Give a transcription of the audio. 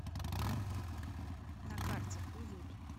на карте уют